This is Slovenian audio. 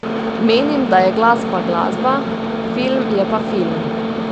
Menim, da je glasba glasba, film je pa film.